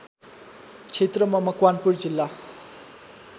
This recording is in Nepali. क्षेत्रमा मकवानपुर जिल्ला